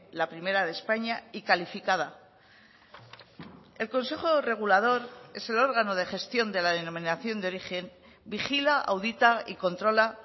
la primera de españa y calificada el consejo regulador es el órgano de gestión de la denominación de origen vigila audita y controla